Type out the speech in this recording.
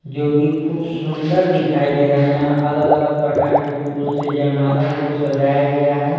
जो कि खूब सुंदर दिखाई दे रहा है यहाँ अलग-अलग प्रकार के फूल से जयमाला को सजाया गया है।